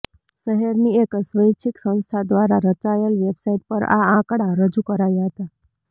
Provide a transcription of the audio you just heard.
શહેરની એક સ્વૈચ્છિક સંસ્થા દ્વારા રચાયેલ વેબસાઈટ પર આ આંકડા રજૂ કરાયા હતા